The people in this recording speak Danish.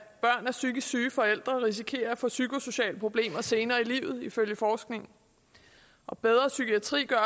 med psykisk syge forældre risikerer at få psykosociale problemer senere i livet ifølge forskning og bedre psykiatri gør